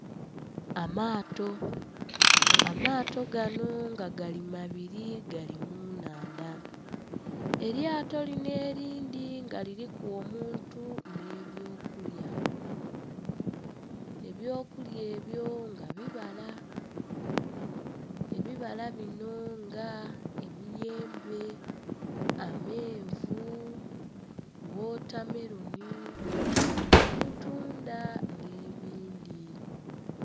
Amaato. Amaato gano nga gali mabiri gali mu nnhandha. Elyato linho elindhi nga liliku omuntu nhi eby'okulya. Eby'okulya ebyo nga bibala, ebibala bino nga emiyembe, amenvu, wotameloni, obutunda nh'ebindhi.